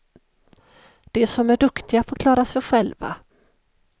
De som är duktiga får klara sig själva.